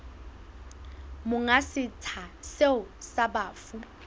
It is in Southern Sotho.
monga setsha seo sa bafu